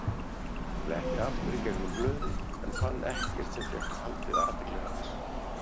Fletti aftur í gegnum blöðin en fann ekkert sem fékk haldið athygli hans.